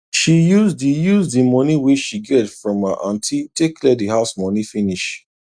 she use the use the money wey she get from her aunty take clear the house money finish